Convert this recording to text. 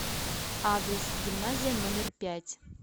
адрес гимназия номер пять